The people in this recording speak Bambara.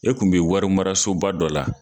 E kun bɛ wari marasoba dɔ la.